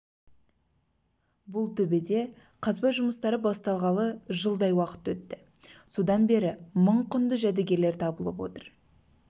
бұл төбеде қазба жұмыстары басталғалы жылдай уақыт өтті содан бері мың құнды жәдігерлер табылып отыр